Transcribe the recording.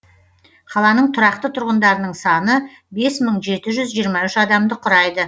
қаланың тұрақты тұрғындарының саны бес мың жеті жүз жиырма үш адамды құрайды